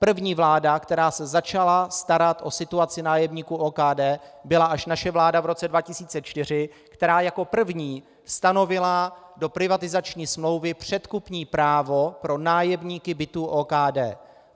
První vláda, která se začala starat o situaci nájemníků OKD, byla až naše vláda v roce 2004, která jako první stanovila do privatizační smlouvy předkupní právo pro nájemníky bytů OKD.